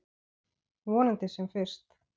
Vonandi sem fyrst.